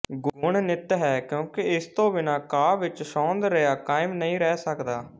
ਗੁਣ ਨਿੱਤ ਹੈ ਕਿਉਂਕਿ ਇਸ ਤੋਂ ਬਿਨਾਂ ਕਾਵਿ ਵਿੱਚ ਸੌਂਦਰਯ ਕਾਇਮ ਨਹੀਂ ਰਹਿ ਸਕਦਾ